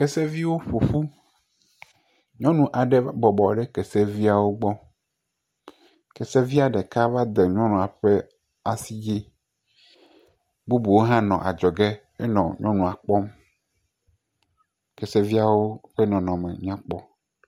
Keseviwo ƒo ƒu. Nyɔnu aɖe bɔbɔ ɖe kese viwo gbɔ. Kese ɖeka va de nyɔnua ƒe asi dzi. Bubuwo hã nɔ adzɔ ge he le nyɔnua kpɔm. keseviawo ƒe nɔnɔme nyakpɔ.